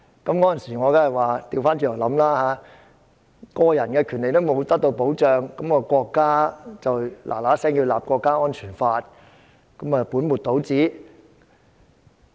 那時我倒過來想，個人權利並未得到保障，國家便要馬上制定《中華人民共和國國家安全法》，豈不是本末倒置？